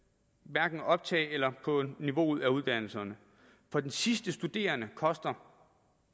hverken optaget eller niveauet af uddannelserne for den sidste studerende koster